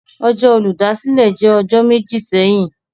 Ọjọ Oludasile jẹ ọjọ meji sẹhin.